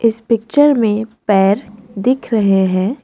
इस पिक्चर में पैर दिख रहे हैं।